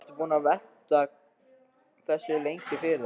Varstu búinn að velta þessu lengi fyrir þér?